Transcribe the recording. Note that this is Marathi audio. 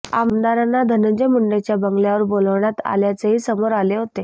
आमदारांना धनंजय मुंडेच्या बंगल्यावर बोलावण्यात आल्याचेही समोर आले होते